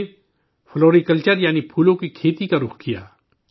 انہوں نے floriculture, یعنی پھولوں کی کھیتی کا رخ کیا